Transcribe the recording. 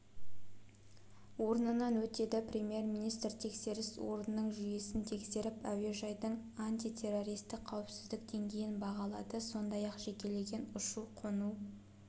орнынан өтеді премьер-министр тексеріс орнының жүйесін тексеріп әуежайдың антитеррористік қауіпсіздік деңгейін бағалады сондай-ақ жекелеген ұшу-қону